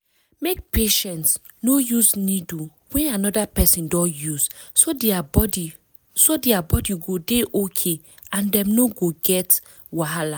make patients no use needle wey another person don use so their body so their body go dey okay and dem no go get wahala